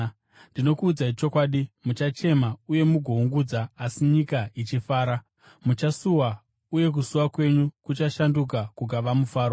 Ndinokuudzai chokwadi, muchachema uye mugoungudza asi nyika ichifara. Muchasuwa, uye kusuwa kwenyu kuchashanduka kukava mufaro.